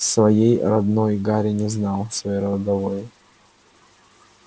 своей родной гарри не знал своей родовой